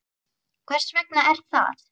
Hvers vegna er það?